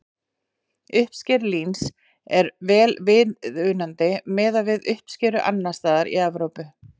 Uppskera líns er vel viðunandi miðað við uppskeru annars staðar í Evrópu.